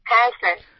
হ্যাঁ স্যার